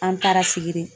An taara sigi de